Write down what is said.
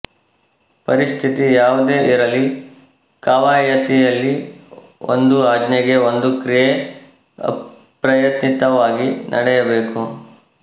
ಪರಿಸ್ಥಿತಿ ಯಾವುದೇ ಇರಲಿ ಕವಾಯತಿಯಲ್ಲಿ ಒಂದು ಆಜ್ಞೆಗೆ ಒಂದು ಕ್ರಿಯೆ ಅಪ್ರಯತ್ನಿತವಾಗಿ ನಡೆಯಬೇಕು